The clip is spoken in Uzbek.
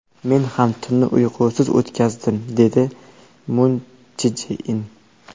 Men ham tunni uyqusiz o‘tkazdim”, dedi Mun Chje In.